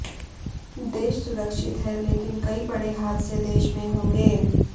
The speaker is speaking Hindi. देश सुरक्षित है लेकिन कई बड़े हादसे देश में होंगे